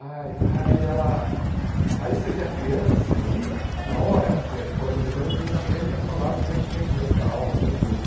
Ai aí ela aí você vê a criança ali, na hora, porque é no colégio britânico que eles aprendem a falar fluentemente durante a aula né, o inglês.